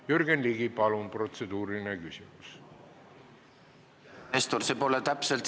Jürgen Ligi, palun protseduuriline küsimus!